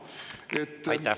Aitäh!